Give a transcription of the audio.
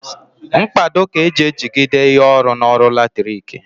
Mkpado ka eji ejigide ihe ọrụ n'ọrụ latriki